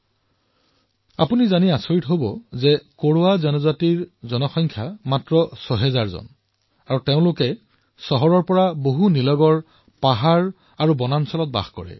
আপোনালোকে জানি আচৰিত হব যে কোৰৱা জনজাতিৰ আবাদীৰ সংখ্যা হল প্ৰায় ৬০০০ জন যি চহৰৰ পৰা দূৰৈত পাহাৰ আৰু হাবিত বাস কৰে